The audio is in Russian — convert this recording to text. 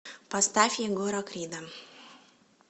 поставь егора крида